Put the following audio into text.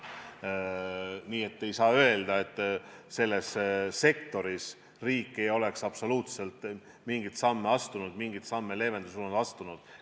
Nii et ei saa öelda, et selles sektoris riik ei oleks absoluutselt mingeid samme leevenduse suunas astunud.